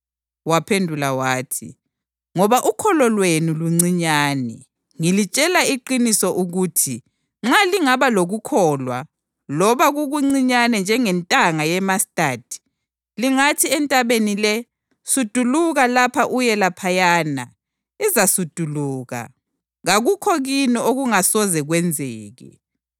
Waphendula wathi, “Ngoba ukholo lwenu luncinyane. Ngilitshela iqiniso ukuthi nxa lingaba lokukholwa loba kukuncinyane njengentanga yemastadi, lingathi entabeni le, ‘Suduluka lapha uye laphayana’ izasuduluka. Kakukho kini okungasoze kwenzeke. [